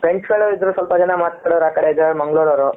Friends ಗಳು ಇದ್ರು ಸ್ವಲ್ಪ ಜನ ಕೆಲವರ ಆಕಡೆ ಇದ್ದರೆ ಮಂಗಳೂರು ಅವ್ರು